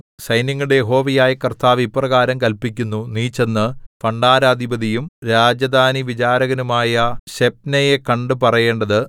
സൈന്യങ്ങളുടെ യഹോവയായ കർത്താവ് ഇപ്രകാരം കല്പിക്കുന്നു നീ ചെന്നു ഭണ്ഡാരപതിയും രാജധാനിവിചാരകനുമായ ശെബ്നെയെ കണ്ടു പറയേണ്ടത്